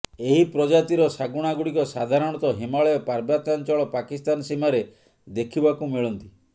ଏହି ପ୍ରଜାତିର ଶାଗୁଣାଗୁଡ଼ିକ ସାଧାରଣତଃ ହିମାଳୟ ପାର୍ବତ୍ୟାଞ୍ଚଳ ପାକିସ୍ଥାନ ସୀମାରେ ଦେଖିବାକୁ ମିଳନ୍ତି